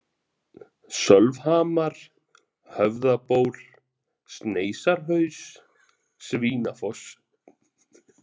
Sölvhamar, Höfðaból, Sneisarhaus, Svínafoss